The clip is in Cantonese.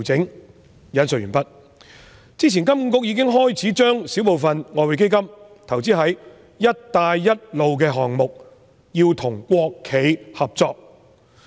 "金融管理局之前已經開始把小部分外匯基金的資產投資在"一帶一路"項目，要與國企合作。